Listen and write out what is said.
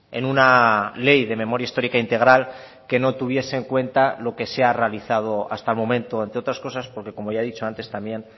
en una ley de memoria histórica integral que no tuviese en cuenta lo que se ha realizado hasta el momento entre otras cosas porque como ya he dicho antes también